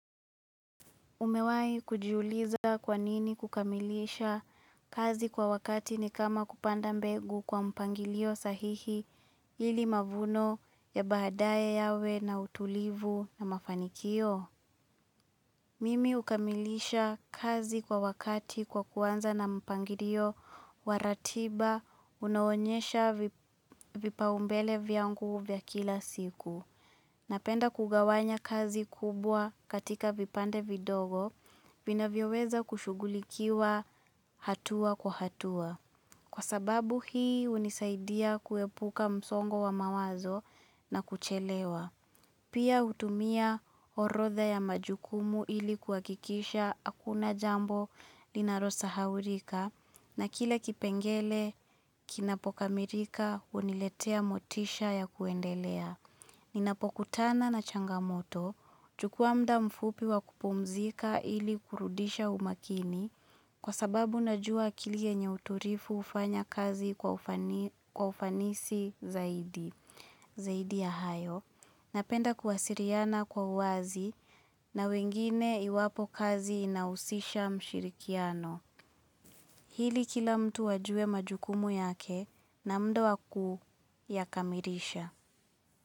Umewai kujuliza kwanini kukamilisha kazi kwa wakati ni kama kupanda mbegu kwa mpangilio sahihi ili mavuno ya baadaye yawe na utulivu na mafanikio? Mimi ukamilisha kazi kwa wakati kwa kuanza na mpangilio waratiba unaonyesha vipaumbele vyangu vya kila siku. Napenda kugawanya kazi kubwa katika vipande vidogo, vinavioweza kushugulikiwa hatua kwa hatua. Kwa sababu hii unisaidia kuepuka msongo wa mawazo na kuchelewa. Pia utumia orodha ya majukumu ilikuakikisha akuna jambo linarosahaulika na kila kipengele kinapokamilika uniletea motisha ya kuendelea. Ninapokutana na changamoto chukua mda mfupi wa kupumzika ili kurudisha umakini kwa sababu najua akili yenye uturifu ufanya kazi kwa ufanisi zaidi ya hayo na penda kuwasiliana kwa uwazi na wengine iwapo kazi inausisha mshirikiano. Hili kila mtu wajue majukumu yake na muda wakuyakamirisha.